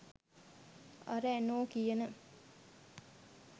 අර ඇනෝ කියන